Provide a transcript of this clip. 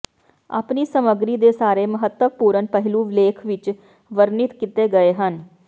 ਆਪਣੀ ਸਮੱਗਰੀ ਦੇ ਸਾਰੇ ਮਹੱਤਵਪੂਰਣ ਪਹਿਲੂ ਲੇਖ ਵਿਚ ਵਰਣਿਤ ਕੀਤੇ ਗਏ ਹਨ